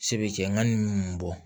Se be kɛ ŋana mun bɔ